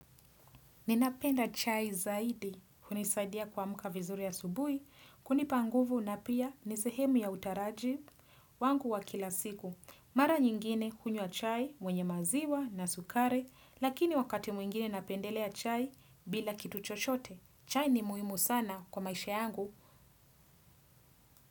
Ninapenda chai zaidi, hunisaidia kuamka vizuri asubuhi, kunipa nguvu na pia ni sehemu ya utaraji wangu wa kila siku. Mara nyingine hunywa chai, mwenye maziwa na sukari, lakini wakati mwingine napendelea chai bila kitu chochote. Chai ni muhimu sana kwa maisha yangu.